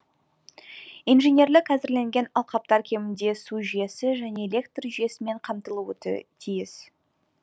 инженерлік әзірленген алқаптар кемінде су жүйесі және электр жүйесімен қамтылуы тиіс